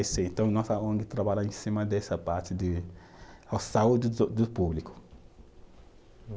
Então, nossa ong trabalha em cima dessa parte de a saúde do do público. Hum